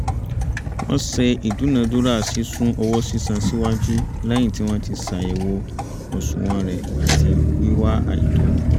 ó ṣe ìdúnádúrà sísún owó sísan síwájú lẹ́yìn tí wọ́n ti ṣàyẹ̀wò àsùnwọ̀n rẹ̀ àti wíwá àìtó